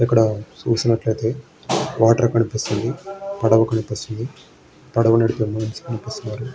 ఇక్కడ చూసినట్టయితే వాటర్ కనిపిస్తుంది. పడవ కనిపిస్తుంది. పడవ నడిపే మనిషి కనిపిస్తున్నాడు.